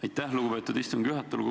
Aitäh, lugupeetud istungi juhataja!